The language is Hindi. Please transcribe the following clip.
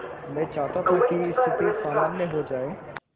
मैं चाहता था कि स्थिति सामान्य हो जाए